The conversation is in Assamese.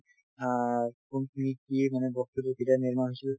অ কোনখিনিত কি মানে বস্তুটো কেতিয়া নিৰ্মাণ হৈছিল